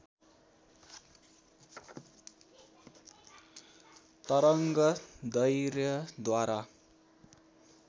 तरङ्ग दैर्घ्य द्वारा